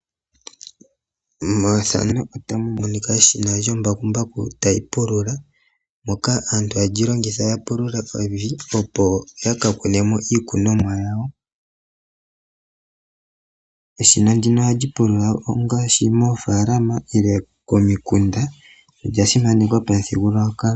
Methano otamu monika Eshina lyombakumbaku tayi pulula moka aantu hayeli lyilongitha ya pulule evi ipo yakakune mo iikunomwa yawo, eshina ndino ohali pulula ongaashi moofaalama ile komikunda olya simanekwa pamuthigululwakalo.